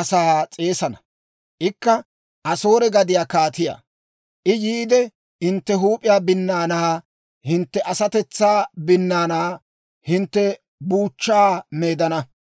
asaa s'eesana; ikka Asoore gadiyaa kaatiyaa; I yiide, hintte huup'iyaa binnaanaa, hintte asatetsaa binnaanaanne hintte buuchchaa meedana.